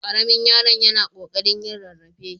Ƙaramin yaron yana ƙoƙarin yin rarrafe.